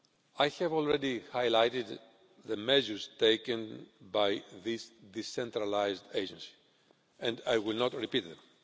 I have already highlighted the measures taken by these decentralised agencies and I will not repeat them.